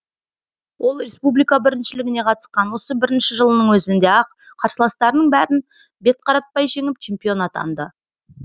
ол республика біріншілігіне қатысқан осы бірінші жылының өзінде ақ қарсыластарының бәрін бет қаратпай жеңіп чемпион атанды